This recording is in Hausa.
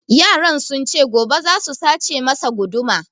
Yaran sun ce gobe za su sace masa guduma